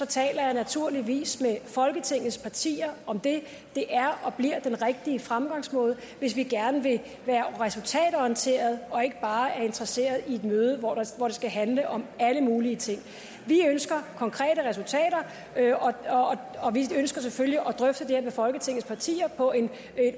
taler jeg naturligvis med folketingets partier om det det er og bliver den rigtige fremgangsmåde hvis vi gerne vil være resultatorienterede og ikke bare er interesseret i et møde hvor det skal handle om alle mulige ting vi ønsker konkrete resultater og vi ønsker selvfølgelig at drøfte det her med folketingets partier på en